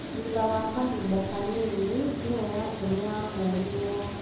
Thutha wa kahinda kanini, thimũ yake nĩ yahũrĩirũo.